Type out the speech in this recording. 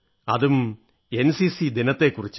അതും എൻസിസി ദിനത്തെക്കുറിച്ച്